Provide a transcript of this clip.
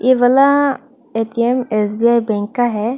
ए वाला ATM SBI bank का है।